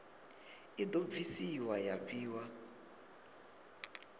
i do bvisiwa ya fhiwa